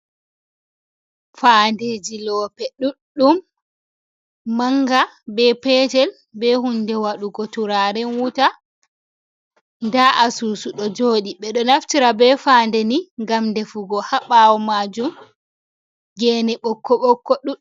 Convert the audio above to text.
Fandeji loope ɗuɗɗum. Manga be petel be hunde wadugo turaren wuta. Da asusu ɗo joɗi ɓe ɗo naftira ɓe fade ni ngam ɗefugo ha bawo majum gene ɓokko ɓokko.